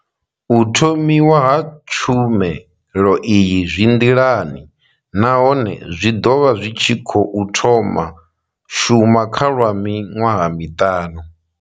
U thomiwa ha tshumelo iyi zwi nḓilani nahone zwi ḓo vha zwi tshi khou thoma shuma kha lwa miṅwaha miṱanu.